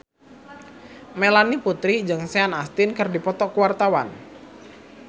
Melanie Putri jeung Sean Astin keur dipoto ku wartawan